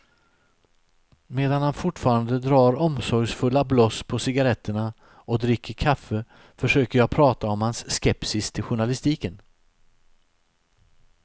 Medan han fortfarande drar omsorgsfulla bloss på cigaretterna och dricker kaffe försöker jag prata om hans skepsis till journalistiken.